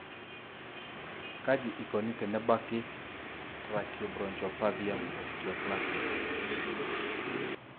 kaji ikoni tenebaki tracheobronchopathia osteoplastica?